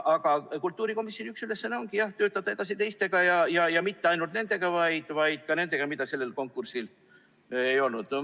Aga kultuurikomisjoni üks ülesandeid on töötada edasi ka teistega, mitte ainult nendega,, vaid ka nendega, mida sellel konkursil ei olnud.